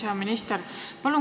Hea minister!